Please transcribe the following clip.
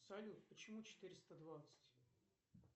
салют почему четыреста двадцать